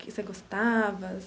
Você gostava?